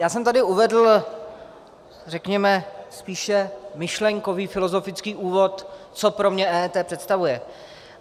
Já jsem tady uvedl, řekněme, spíše myšlenkový filozofický úvod, co pro mě EET představuje.